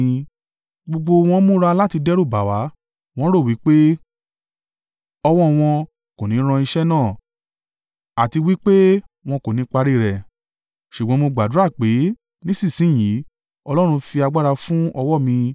Gbogbo wọn múra láti dẹ́rùbà wá, wọ́n ń rò ó wí pé, “Ọwọ́ wọn kò ní ran iṣẹ́ náà, àti wí pé wọn kò ní parí rẹ̀.” Ṣùgbọ́n mo gbàdúrà pé, “Nísinsin yìí Ọlọ́run fi agbára fún ọwọ́ mi.”